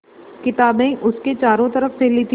किताबें उसके चारों तरफ़ फैली थीं